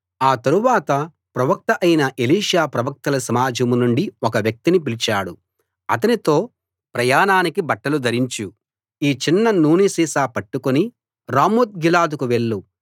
ఆ తరువాత ప్రవక్త అయిన ఎలీషా ప్రవక్తల సమాజం నుండి ఒక వ్యక్తిని పిలిచాడు అతనితో ప్రయాణానికి బట్టలు ధరించు ఈ చిన్న నూనె సీసా పట్టుకుని రామోత్ గిలాదుకు వెళ్ళు